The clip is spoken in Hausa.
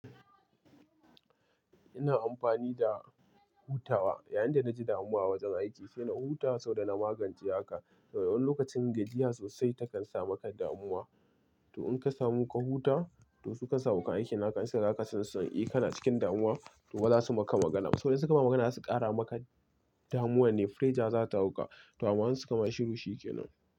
Ina amfani da hutawa, yayin da na ji damuwa a wajen aiki sai na huta saboda na magance haka. Wani lokacin gajiya sosai takan sa maka damuwa. To in ka samu ka huta, to su kansu abokan aiki na ka in suka ga haka ka sun eh, kana cikin damuwa. To za su maka magana. Saboda in suka maka magana zasu ƙara maka damuwa nne. Fireja za ta hauka. To amma su kama shiru shi ke nan.